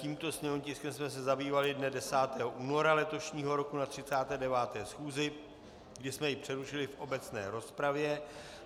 Tímto sněmovním tiskem jsme se zabývali dne 10. února letošního roku na 39. schůzi, kdy jsme jej přerušili v obecné rozpravě.